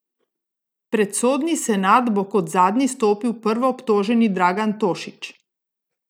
Pred sodni senat bo kot zadnji stopil prvoobtoženi Dragan Tošić.